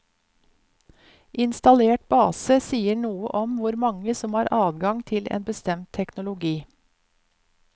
Installert base sier noe om hvor mange som har adgang til en bestemt teknologi.